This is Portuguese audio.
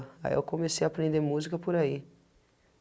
Aí eu comecei a aprender música por aí,